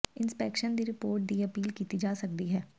inspection ਦੀ report ਦੀ appeal ਕੀਤੀ ਜਾ ਸਕਦੀ ਹੈ